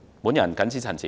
我謹此陳辭。